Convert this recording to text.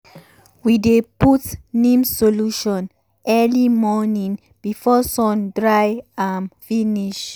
we dey put neem solution early morning before sun dry am finish.